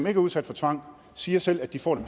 er udsat for tvang siger selv at de får det